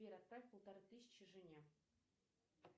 сбер отправь полторы тысячи жене